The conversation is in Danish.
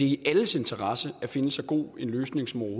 i alles interesse at finde så god en løsning som